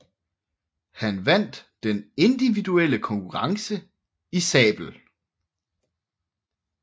Han vandt den individuelle konkurrence i sabel